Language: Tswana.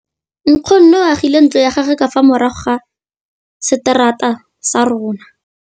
Nkgonne o agile ntlo ya gagwe ka fa morago ga seterata sa rona.